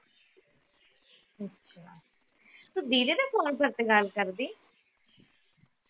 ਤੂੰ ਵੀਰੇ ਦੇ ਫੋਨ ਕਾਲ ਕਰਦੀ